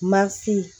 Masi